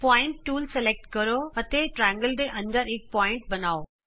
point tool ਚੁਣੋ ਅਤੇ ਤ੍ਰਿਕੋਣ ਦੇ ਅੰਦਰ ਇਕ ਬਿੰਦੂ ਬਣਾਉ